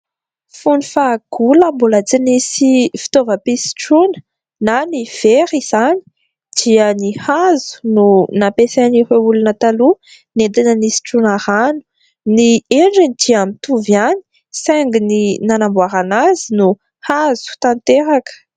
Fony fahagola mbola tsy nisy fitaovam-pisotroana na ny vera izany dia ny hazo no nampiasain'ireo olona taloha nentina nisotroana rano. Ny endriny dia mitovy ihany saingy ny nanamboarana azy dia hazo tanteraka.